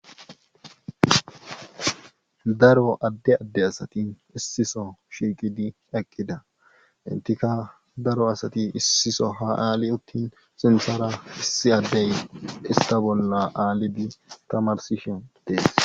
Daro adde adde asati issi bolla shiiqidi eqqida entikka daro asati issi sohuwan ali uttin sinthara issi adde ista bolla allidi tamarsishin be'ays.